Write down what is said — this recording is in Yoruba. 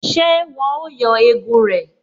Ṣé wọn ó yọ egun rẹ̀?